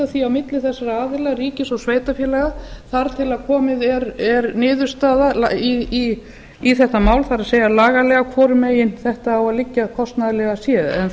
því á milli þessara aðila ríkis og sveitarfélaga þar til komin er niðurstaða í þetta mál það er lagalega hvar þetta á að liggja kostnaðarlega séð en